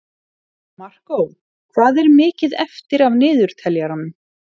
Markó, hvað er mikið eftir af niðurteljaranum?